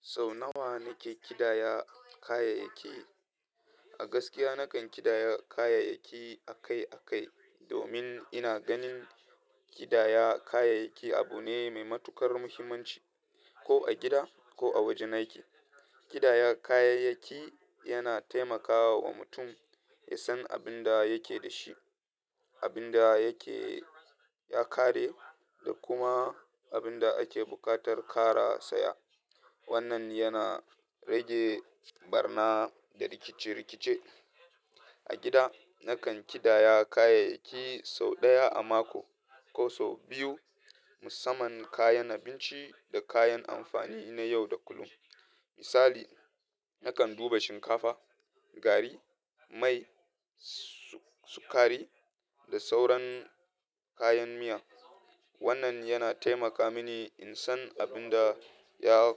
Sau nawa nake ƙidaya kayayyaki? A gaskiya nakan ƙidaya kayayyaki akai-akai, domin ina ganin ƙidaya kayayyaki abu ne mai matuƙar muhimmanci. Ko a gida ko a wajen aiki, ƙidaya kayayyaki yana taimakawa wa mutum ya san abin da yake da shi, abin da yake ya ƙare, da kuma abin da ake buƙatar kara saya. Wannan yana rage ɓarna da rikice-rikice. A gida, nakan ƙidaya kayayyaki sau ɗaya a mako ko sau biyu, musamman kayan abinci da kayan amfani na yau da kullum. Misali, nakan duba shinkafa, gari, mai, sukari, da sauran kayan miya. Wannan yana taimaka mini in san abin da ya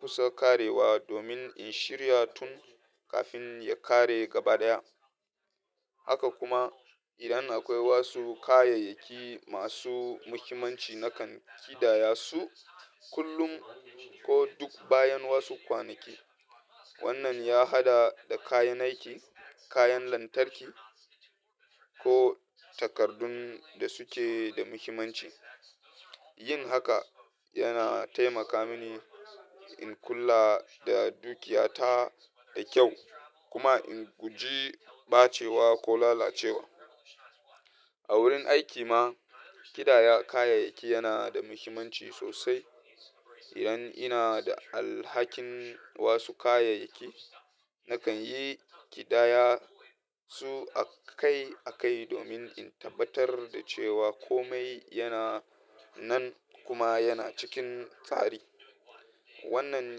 kusa ƙarewa domin in shirya tun kafin ya ƙare gaba ɗaya. Haka kuma, idan akwai wasu kayayyaki masu muhimmanci, nakan ƙidaya su kullum ko duk bayan wasu kwanaki. Wannan ya haɗa da kayan aiki, kayan lantarki, ko takardun da suke da muhimmanci. Yin haka yana taimaka mini in kula da dukiyata da kyau kuma in guji ɓacewa ko lalacewa. A wurin aiki ma, ƙidaya kayayyaki yana da muhimmanci sosai. Idan ina da alhakin wasu kayayyaki, nakan yi ƙidaya su akai-akai domin in tabbatar da cewa komai yana nan kuma yana cikin tsari. Wannan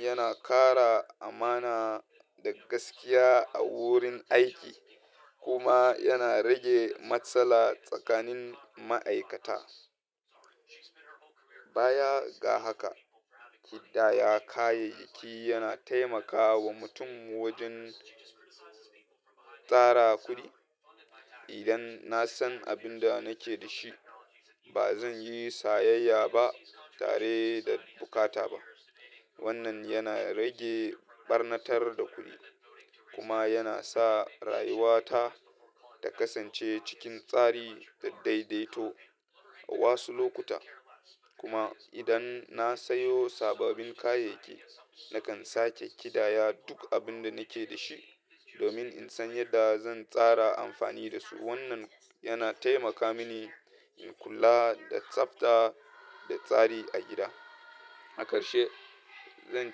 yana ƙara amana da gaskiya a wurin aiki kuma yana rage matsala tsakanin ma'aikata. Baya ga haka, ƙidaya kayayyaki yana taimakawa mutum wajen tsara kuɗi. Idan na san abin da nake da shi, ba zan yi sayayya ba tare da buƙata ba. Wannan yana rage ɓarnatar da kuɗi kuma yana sa rayuwata ta kasance cikin tsari da daidaito a wasu lokuta. Kuma idan na sayo sababbin kayayyaki, nakan sake ƙidaya duk abin da nake da shi domin in san yadda zan tsara amfani da su. Wannan yana taimaka mini in kula da tsafta da tsari a gida. A karshe, zan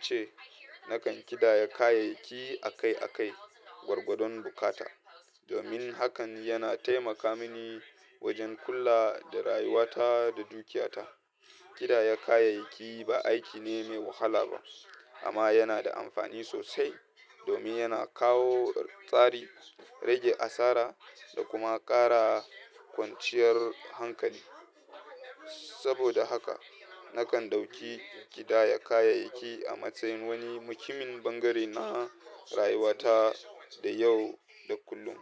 ce nakan ƙidaya kayayyaki akai-akai gwargwadon bukata, domin hakan yana taimaka mini wajen kula da rayuwata da dukiyata. Ƙidaya kayayyaki ba aiki ne mai wahala ba, amma yana da amfani sosai domin yana kawo tsari, rage asara, da kuma ƙara kwanciyar hankali. Saboda haka, nakan ɗauki ƙidaya kayayyaki a matsayin wani muhimmin ɓangare na rayuwata da yau da kullum.